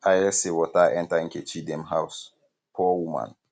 i hear say water enter nkechi dem house poor woman